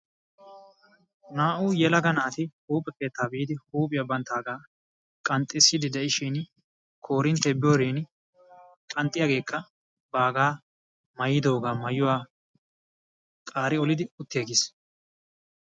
naa' u yelaga naati huuphe keeta biidi huuphiya bantaaga qanxisiidi de'ishsin korintee biyorin qanxiyagee baaga mayidooga mayuwa qaari olidi utti aggis.